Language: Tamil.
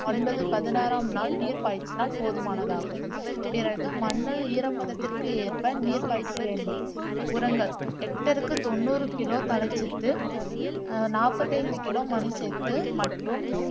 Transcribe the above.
ஒன்பது பதினாறாம் நாள் நீர் பாய்ச்சினால் போதுமானதாகும் பிறகு மண்ணில் ஈரப்பதத்திற்கு ஏற்ப நீர் பாய்ச்ச வேண்டும் உரங்கள் கெக்டருக்கு தொண்ணுறு கிலோ நாற்பத்தைந்து கிலோ மண் சேர்த்து மற்றும்